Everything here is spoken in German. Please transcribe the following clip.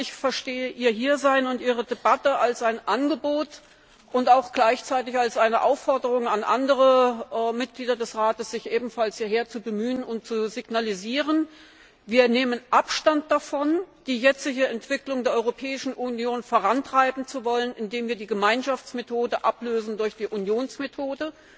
Ich verstehe Ihr Hiersein und Ihre Debatte als ein Angebot und gleichzeitig als eine Aufforderung an andere Mitglieder des Rates, sich ebenfalls hierher zu bemühen und zu signalisieren, wir nehmen Abstand davon, die jetzige Entwicklung der Europäischen Union vorantreiben zu wollen, indem wir die Gemeinschaftsmethode ablösen durch die Unionsmethode,